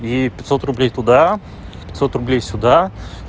я ей пятьсот рублей туда пятьсот рублей сюда